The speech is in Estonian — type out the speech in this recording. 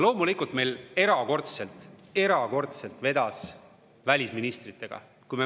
Loomulikult, erakordselt vedas meil välisministritega.